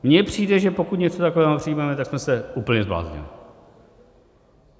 Mně přijde, že pokud něco takového přijmeme, tak jsme se úplně zbláznili.